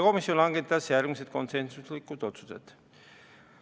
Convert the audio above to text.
Komisjon langetas järgmised konsensuslikud otsused.